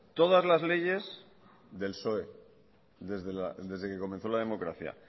todas las leyes del psoe desde que comenzó la democracia